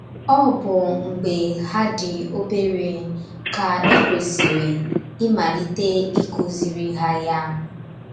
Ọ bụ mgbé ha dị obere ka ị kwesịrị ịmalite ịkụziri ha ya.